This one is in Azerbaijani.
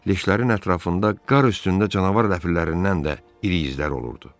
Leşlərin ətrafında qar üstündə canavar ləpir-lərindən də iri izlər olurdu.